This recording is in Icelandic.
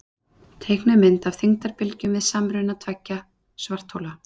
Teiknuð mynd af þyngdarbylgjum við samruna tveggja svarthola.